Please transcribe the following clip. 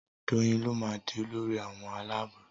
Doyin ló má dì Olórí àwọn Àlàabò.